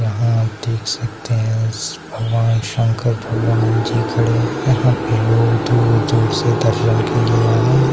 यहां आप देख सकते है भगवान शंकर भगवान जी खड़े हैं यहां पे लोग दूर-दूर से दर्शन के लिए आए है।